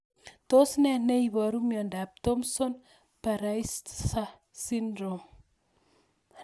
Tos nee neiparu miondop Thompson Baraitser syndrome?